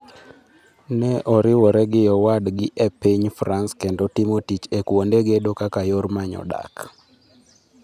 ne oriwre gi owadni e piny France kendo timo tich e kuonde gedo kaka yor manyo dak